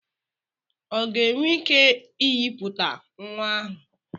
Ọ ga-enwe ike inyipụta nwa ahụ?